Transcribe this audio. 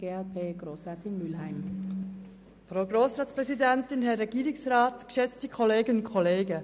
Jetzt haben die Fraktionen das Wort, zuerst Grossrätin Mühlheim für die glp.